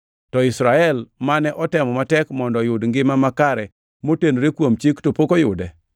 to Israel mane otemo matek mondo oyud ngima makare motenore kuom Chik to pok oyude.